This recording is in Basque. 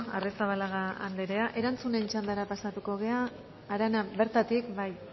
arrizabalaga anderea erantzunen txandara pasatuko gara arana bertatik bai